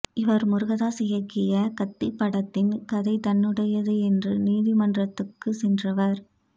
இவர் முருகதாஸ் இயக்கிய கத்தி படத்தின் கதை தன்னுடையது என்று நீதிமன்றத்துக்கு சென்றவர்